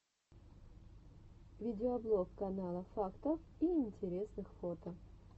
видеоблог канала фактов и интересных фото